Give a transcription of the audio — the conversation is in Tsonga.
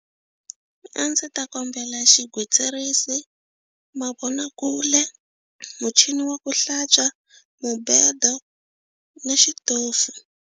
A ndzi ta kombela xigwitsirisi, mavonakule, muchini wa ku hlantswa, mubedo na xitofu.